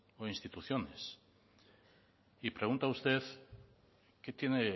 o instituciones y pregunta usted qué tiene